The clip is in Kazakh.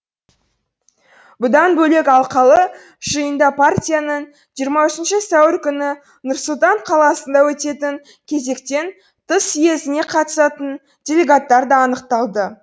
бұдан бөлек алқалы жиында партияның жиырма үшінші сәуір күні нұр сұлтан қаласында өтетін кезектен тыс съезіне қатысатын делегаттар да анықталды